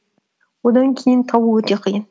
одан кейін табу өте қиын